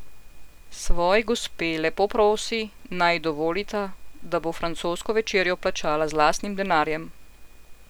Svoji gospe lepo prosi, naj ji dovolita, da bo francosko večerjo plačala z lastnim denarjem.